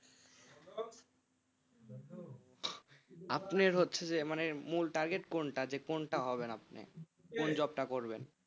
আপনি হচ্ছে যে মানে মূল target কোনটা যে কোনটা হবে আপনি কোন job টা করবেন?